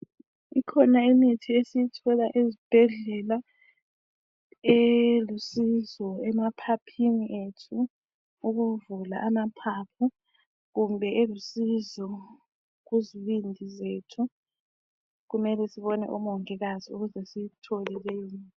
Ikhona imithi esiyithola ezibhedlela elusizo emaphiphini ethu, ukuvula amaphapho kumbe elusizo kuzibindi zethu, kumele sibone umongikazi ukuze siyithole leyimithi.